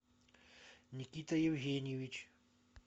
никита евгеньевич